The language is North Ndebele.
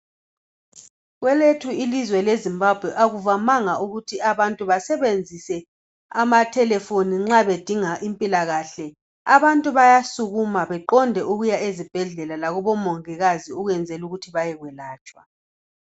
Kwelethu ilizwe lezimbabwe akuvamanga ukuthi abantu basebenzise ama telephone nxa bedinga impilakahle abantu bayasukuma beqonde ukuya ezibhedlela lakubomongikazi ukwenzela ukuthi bayekwelatshwa.